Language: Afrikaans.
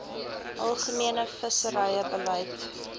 algemene visserye beleid